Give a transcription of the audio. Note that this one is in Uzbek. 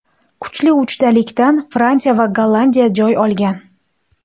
Kuchli uchlikdan Fransiya va Gollandiya joy olgan.